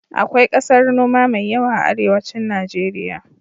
Akwai ƙasar noma mai yawa a arewacin Najeriya.